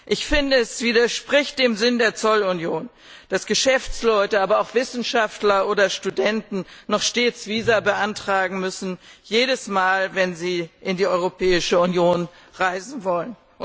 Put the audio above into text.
Ich finde, es widerspricht dem Sinn der Zollunion, dass Geschäftsleute, aber auch Wissenschaftler oder Studenten noch stets Visa beantragen müssen, jedes Mal, wenn sie in die Europäische Union reisen wollen.